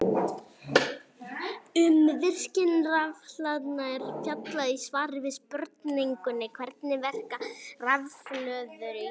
Um virkni rafhlaðna er fjallað í svari við spurningunni Hvernig verka rafhlöður í farsímum?